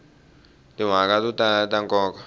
timhaka to tala ta nkoka